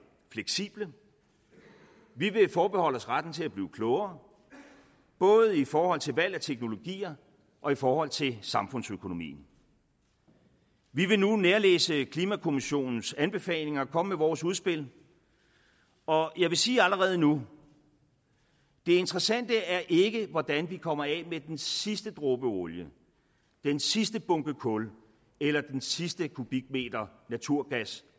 fleksible vi vil forbeholde os retten til at blive klogere både i forhold til valg af teknologier og i forhold til samfundsøkonomien vi vil nu nærlæse klimakommissionens anbefalinger og komme med vores udspil og jeg vil sige allerede nu det interessante er ikke hvordan vi kommer af med den sidste dråbe olie den sidste bunke kul eller den sidste kubikmeter naturgas